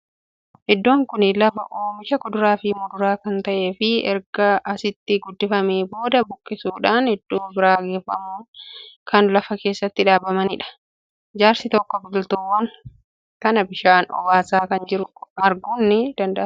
Iddoon kuni lafa oomisha kuduraa fii muduraa kan ta; eefii erga asitti guddifamee booda buqqisuudhan iddoo biraa geeffamanii kan lafa keessatti dhaabbamaniidha. Jaarsi tokko biqiltuuwwan kana bishaan obaasaa akka jiru arguun ni danda'ama.